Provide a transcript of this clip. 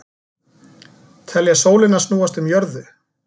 Telja sólina snúast um jörðu